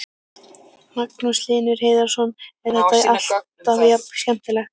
Magnús Hlynur Hreiðarsson: Er þetta alltaf jafn skemmtilegt?